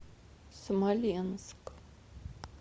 смоленск